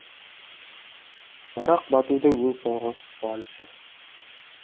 барақ батудың ең соңғы қуанышы